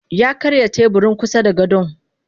Yakarya teburin kusada gadon.